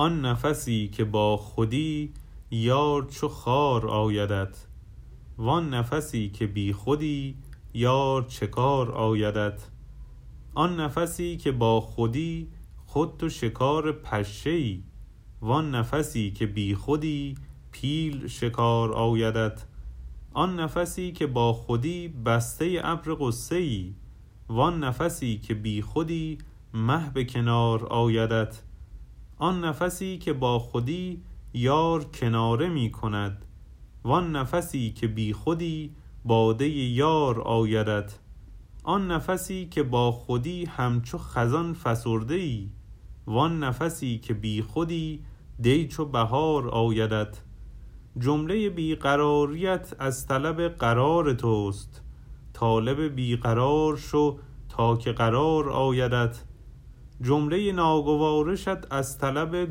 آن نفسی که باخودی یار چو خار آیدت وان نفسی که بیخودی یار چه کار آیدت آن نفسی که باخودی خود تو شکار پشه ای وان نفسی که بیخودی پیل شکار آیدت آن نفسی که باخودی بسته ابر غصه ای وان نفسی که بیخودی مه به کنار آیدت آن نفسی که باخودی یار کناره می کند وان نفسی که بیخودی باده یار آیدت آن نفسی که باخودی همچو خزان فسرده ای وان نفسی که بیخودی دی چو بهار آیدت جمله بی قراریت از طلب قرار توست طالب بی قرار شو تا که قرار آیدت جمله ناگوارشت از طلب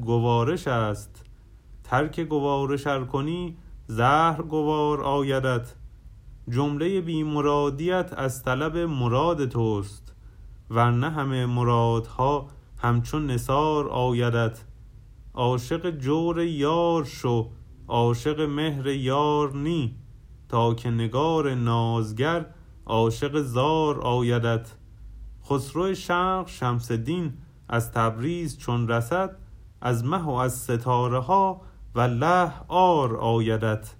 گوارش است ترک گوارش ار کنی زهر گوار آیدت جمله بی مرادیت از طلب مراد توست ور نه همه مرادها همچو نثار آیدت عاشق جور یار شو عاشق مهر یار نی تا که نگار نازگر عاشق زار آیدت خسرو شرق شمس دین از تبریز چون رسد از مه و از ستاره ها والله عار آیدت